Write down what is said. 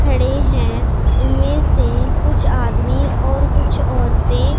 खड़े हैं इनमें से कुछ आदमी और कुछ औरतें--